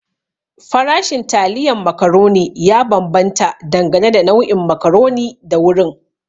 Farashin taliyan macaroni ya bambanta dangane da nau'in macaroni da wurin.